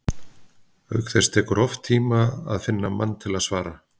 Auk þess tekur oft tíma að finna mann til að svara.